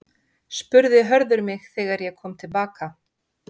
spurði Hörður mig þegar ég kom til baka.